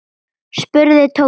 spurði Tóti.